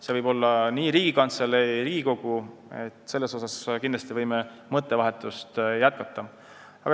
See võib olla näiteks Riigikantselei või Riigikogu, võime seda mõttevahetust jätkata.